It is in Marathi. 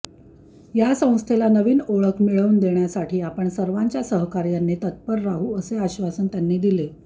या संस्थेला नवीन ओळख मिळवून देण्यासाठी आपण सर्वांच्या सहकार्याने तत्पर राहू असे आश्वासन त्यांनी दिले